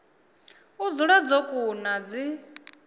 u dzula dzo kuna dzi